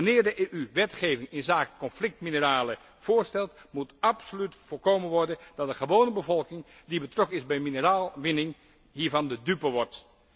Wanneer de EU wetgeving inzake conflictmineralen voorstelt, moet absoluut voorkomen worden dat de gewone bevolking, die betrokken is bij mineraalwinning, hiervan de dupe wordt.